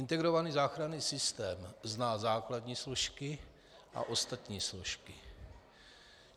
Integrovaný záchranný systém zná základní složky a ostatní složky.